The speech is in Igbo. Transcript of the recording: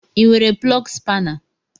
I nwere plọgu spana?